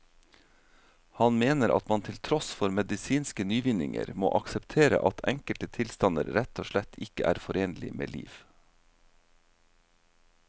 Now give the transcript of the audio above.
Han mener at man til tross for medisinske nyvinninger må akseptere at enkelte tilstander rett og slett ikke er forenlig med liv.